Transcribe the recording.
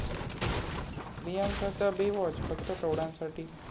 प्रियांकाचा 'Baywatch' फक्त प्रौढांसाठी